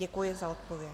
Děkuji za odpověď.